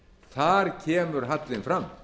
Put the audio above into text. þar kemur hallinn fram